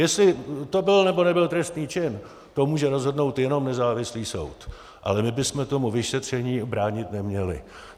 Jestli to byl, nebo nebyl trestný čin, to může rozhodnout jenom nezávislý soud, ale my bychom tomu vyšetření bránit neměli.